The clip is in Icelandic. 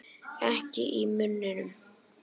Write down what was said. Ekki í munninum.